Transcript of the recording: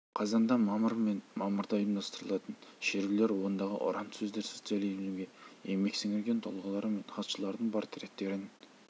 қазанда мамыр мен мамырда ұйымдастырылатын шерулер ондағы ұран сөздер социализмге еңбек сіңірген тұлғалар мен хатшыларының портреттерін